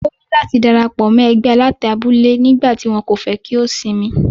Ó ní láti dárapọ̀ mọ́ ẹgbẹ́ alátẹ abule nígbà tí wọ́n kò fẹ́ kí ó sinmi.